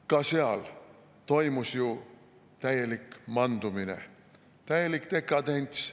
Ka siis toimus ju täielik mandumine, täielik dekadents.